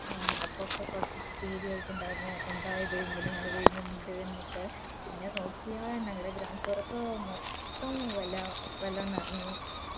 അപ്പൊക്കെ കൊറച്ച് പേടിയായിട്ടിണ്ടായിരുന്നു എന്താ ഇത് ഇങ്ങനെ മള പെയ്യുന്നുണ്ട് ന്നു ഒക്കെ പിന്നെ നോക്കിയാ ഞങ്ങടെ ground floor ഒക്കെ മൊത്തം വെള്ളം വെള്ളം നിറഞ്ഞു